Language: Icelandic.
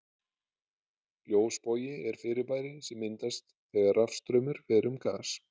Ljósbogi er fyrirbæri sem myndast þegar rafstraumur fer um gas.